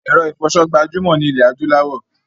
Èro ìfoso gbajúmò ni ilẹ̀ adúláwò